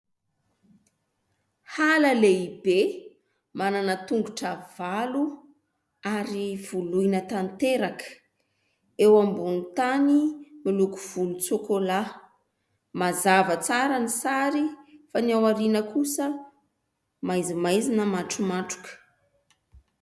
Hala lehibe. Manana tongotra valo ary voloina tanteraka. Eo ambony tany miloko volontsokolà. Mazava tsara ny sary fa ny ao aoriana kosa maizimaizina matromatroka.